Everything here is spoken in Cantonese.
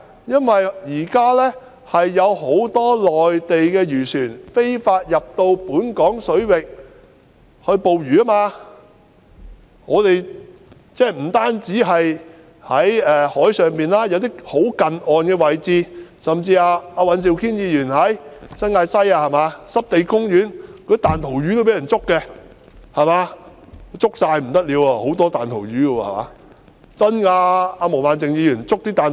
現時有很多內地漁船非法進入本港水域捕魚，不單在海上作業，有些更在近岸的位置活動，甚至在尹兆堅議員所屬的新界西，濕地公園裏的彈塗魚也被人捉去，那裏有很多彈塗魚，全都被捉去便不得了。